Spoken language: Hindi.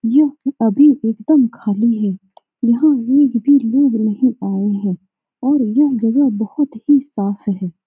यह अभी एकदम खाली है यहाँ एक भी लोग नहीं आये है और ये बहुत ही जगह साफ़ है।